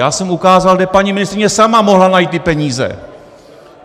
Já jsem ukázal, kde paní ministryně sama mohla najít ty peníze.